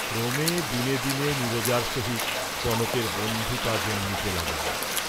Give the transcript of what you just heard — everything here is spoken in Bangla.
ক্রমে দিনে দিনে নীরজার সহিত কনকের বন্ধুতা জন্মিতে লাগিল।